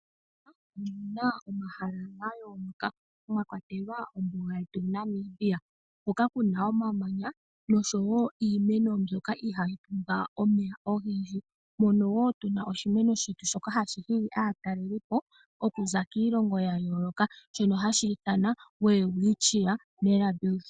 Opu na omahala ga yooloka mwa kwatelwa ombuga yetu Namib hoka ku na omamanya oshowo iimeno mbyoka ihayi pumbwa omeya ogendji. Mono wo tu na oshimeno shetu shoka hashi hili aatalelipo okuza kiilongo ya yooloka, shoka hashi ithanwa Welwitchia Mirabilis.